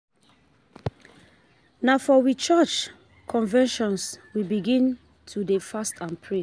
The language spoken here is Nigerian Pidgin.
Na for we church convention we begin to dey fast and pray.